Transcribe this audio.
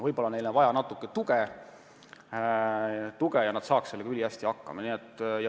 Võib-olla on neil algul vaja natuke tuge, aga seejärel saaksid nad sellega ülihästi hakkama.